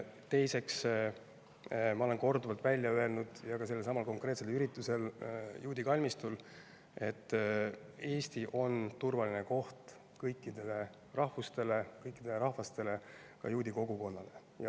Teiseks, ma olen korduvalt välja öelnud, ka sellelsamal konkreetsel üritusel juudi kalmistul, et Eesti on turvaline koht kõikidele rahvustele, kõikidele rahvastele, ka juudi kogukonnale.